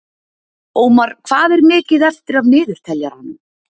Ómar, hvað er mikið eftir af niðurteljaranum?